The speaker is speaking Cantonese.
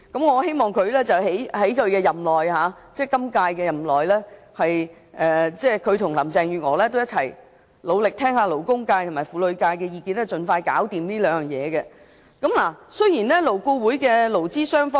我希望局長在今屆任內和林鄭月娥一起努力，聆聽勞工界和婦女界的意見，盡快處理好這兩項工作。